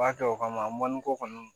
B'a kɛ o kama mɔniko kɔni